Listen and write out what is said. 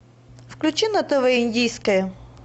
включи на тв индийское